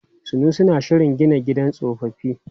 Sanusi na shirin gina gidan tsofaffi.